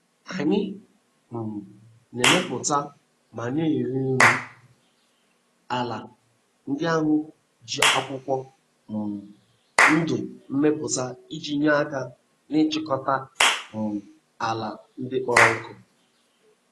Anyị um na-emepụta ma na-ere.nri ala ndị ahụ e ji akwụkwọ um ndụ mepụuta iji nye aka n'ịchịkọta um ala ndị kpọrọ nkụ.